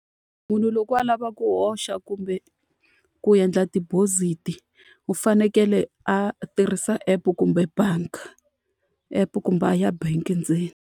Munhu loko a lava ku hoxa kumbe ku endla deposit-i, u fanekele a tirhisa app-u kumbe bank. App kumbe a ya bangi endzeni.